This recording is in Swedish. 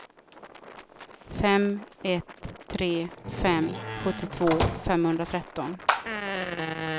fem ett tre fem sjuttiotvå femhundratretton